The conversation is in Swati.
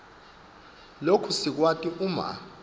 loku sikwati uma